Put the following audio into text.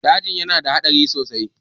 dajin yana da hadari sosai